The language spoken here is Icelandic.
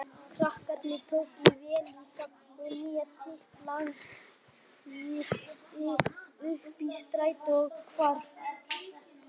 Krakkarnir tóku vel í það og Nína tiplaði upp í strætó og hvarf.